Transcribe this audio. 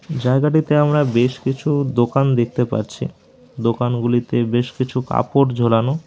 জায়গাটিতে আমরা বেশ কিছু দোকান দেখতে পাচ্ছি দোকানগুলিতে বেশকিছু কাপড় ঝোলানো।